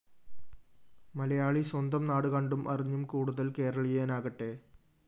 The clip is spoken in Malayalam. മലയാളി സ്വന്തം നാടുകണ്ടും അറിഞ്ഞും കൂടുതല്‍ കേരളിയനാകട്ടെ